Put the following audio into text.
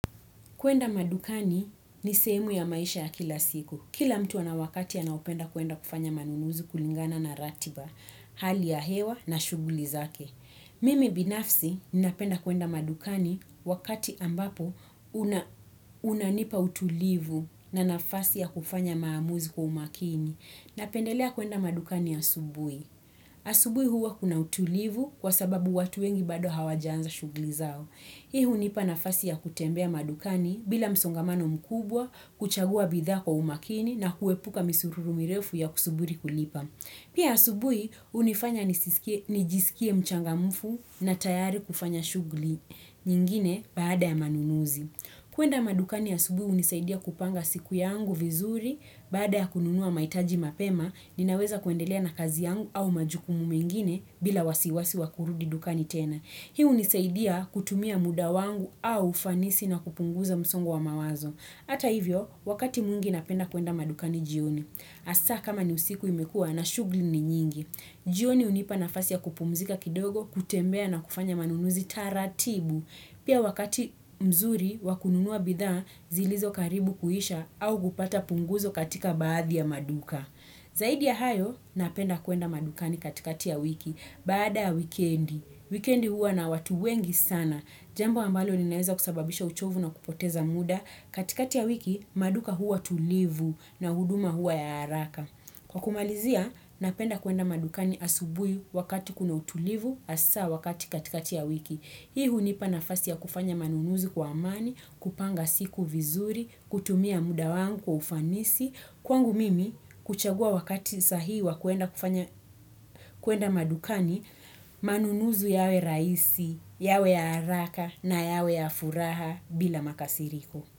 Kuenda madukani ni sehemu ya maisha ya kila siku. Kila mtu ana wakati anaopenda kuenda kufanya manunuzi kulingana na ratiba, hali ya hewa na shuguli zake. Mimi binafsi, ninapenda kuenda madukani wakati ambapo unanipa utulivu na nafasi ya kufanya maamuzi kwa umakini. Napendelea kuenda madukani asubui. Asubuhi huwa kuna utulivu kwa sababu watu wengi bado hawajaanza shuguli zao. Hii hunipa nafasi ya kutembea madukani bila msongamano mkubwa, kuchagua bidhaa kwa umakini na kuepuka misururu mirefu ya kusuburi kulipa. Pia asubui unifanya nijisikie mchangamufu na tayari kufanya shugli nyingine baada ya manunuzi. Kuenda madukani asubui unisaidia kupanga siku yangu vizuri baada ya kununua maitaji mapema ninaweza kuendelea na kazi yangu au majukumu mengine bila wasiwasi wa kurudi dukani tena. Hii unisaidia kutumia muda wangu au ufanisi na kupunguza msongo wa mawazo. Ata hivyo, wakati mwingi napenda kuenda madukani jioni. Asa kama ni usiku imekua na shugli ni nyingi. Jioni hunipa nafasi ya kupumzika kidogo, kutembea na kufanya manunuzi taratibu. Pia wakati mzuri wa kununua bidha, zilizokaribu kuisha au kupata punguzo katika baadhi ya maduka. Zaidi ya hayo, napenda kuenda madukani katikati ya wiki, baada ya weekendi. Wikendi huwa na watu wengi sana. Jambo ambalo linaweza kusababisha uchovu na kupoteza muda. Katikati ya wiki, maduka huwa tulivu na huduma huwa ya haraka. Kwa kumalizia, napenda kuenda madukani asubuhi wakati kuna utulivu asa wakati katikati ya wiki. Hii hunipa nafasi ya kufanya manunuzi kwa amani, kupanga siku vizuri, kutumia muda wangu kwa ufanisi, kwangu mimi kuchagua wakati sahihi wa kuenda madukani manunuzi yawe raisi, yawe ya haraka na yawe ya furaha bila makasiriko.